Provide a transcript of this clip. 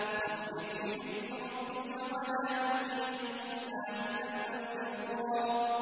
فَاصْبِرْ لِحُكْمِ رَبِّكَ وَلَا تُطِعْ مِنْهُمْ آثِمًا أَوْ كَفُورًا